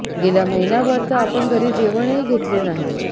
गेला महिनाभर तर आपण घरी जेवणही घेतले नाही